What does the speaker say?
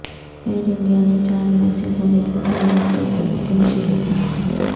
year India نے چار مئی سے گھریلو پروازوں کی بکنگ شروع کی